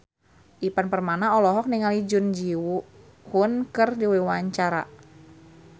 Ivan Permana olohok ningali Jun Ji Hyun keur diwawancara